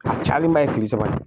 A cayalenba ye kile saba ye